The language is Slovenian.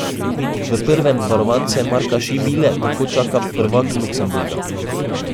V prvem varovance Marka Šibile tako čaka prvak Luksemburga.